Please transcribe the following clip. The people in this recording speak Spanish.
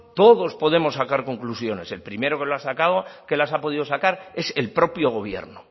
todos podemos sacar conclusiones el primero que las ha podido sacar es el propio gobierno